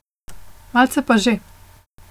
Malce pa že.